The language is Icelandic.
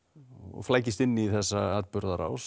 flækist inn í þessa atburðarás